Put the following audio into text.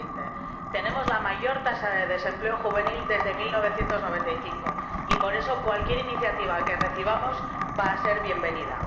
2020. Tenemos la mayor tasa de desempleo juvenil desde 1995 y, por eso, cualquier iniciativa que recibamos va a ser bienvenida.